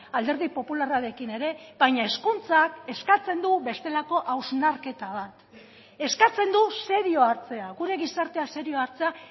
alderdi popularrarekin ere baina hezkuntzak eskatzen du bestelako hausnarketa bat eskatzen du serio hartzea gure gizartea serio hartzea